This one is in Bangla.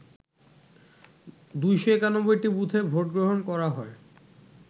২৯১টি বুথে ভোটগ্রহণ করা হয়